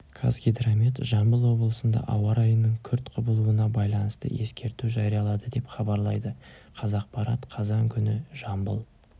казгидромет жамбыл облысында ауа райының күрт құбылуына байланысты ескерту жариялады деп хабарлайды қазақпарат қазан күні жамбыл